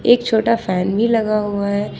एक छोटा फैन भी लगा हुआ है।